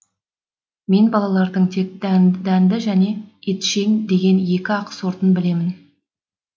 мен балалардың тек дәнді және етшең деген екі ақ сортын білемін